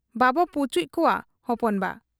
ᱵᱟᱵᱚ ᱯᱚᱪᱩᱡ ᱠᱚᱣᱟ ᱦᱚᱯᱚᱱ ᱵᱟ ᱾'